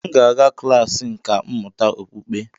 Ee m ga-aga klas nkà mmụta okpukpe